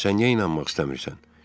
Sən niyə inanmaq istəmirsən?